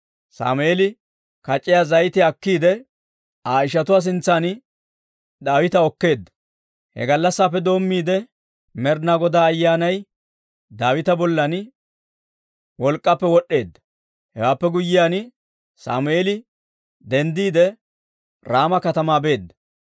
Sammeeli kac'iyaa zayitiyaa akkiide, Aa ishatuu sintsan Daawita okkeedda. He gallassappe doommiide, Med'inaa Godaa Ayyaanay Daawita bollan wolk'k'appe wod'd'eedda. Hewaappe guyyiyaan, Sammeeli denddiide, Raama katamaa beedda.